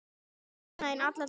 Ég sakna þín alla daga.